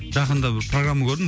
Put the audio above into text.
жақында бір программа көрдім